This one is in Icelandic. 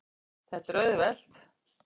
Þetta er auðvelt.